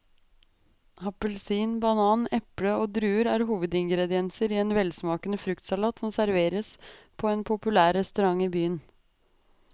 Appelsin, banan, eple og druer er hovedingredienser i en velsmakende fruktsalat som serveres på en populær restaurant i byen.